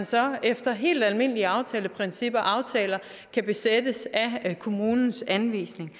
så efter helt almindelige aftaleprincipper og aftaler kan besættes af kommunens anvisning